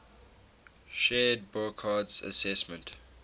shared burckhardt's assessment